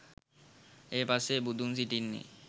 ඒ පසේ බුදුන් සිටින්නේ